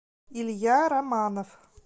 илья романов